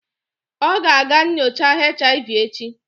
Ọ ga-aga nyocha HIV echi